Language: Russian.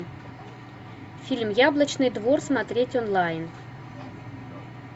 фильм яблочный двор смотреть онлайн